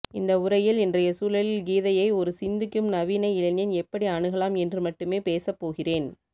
இந்த உரையில் இன்றைய சூழலில் கீதையை ஒரு சிந்திக்கும் நவீன இளைஞன் எப்படி அணுகலாம் என்று மட்டுமே பேசப்போகிறேன்